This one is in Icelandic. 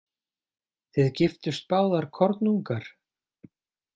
Þið giftust báðar kornungar?